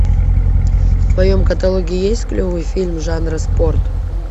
в твоем каталоге есть клевый фильм жанра спорт